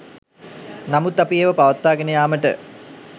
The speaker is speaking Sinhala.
නමුත් අපි ඒවා පවත්වාගෙන යාමට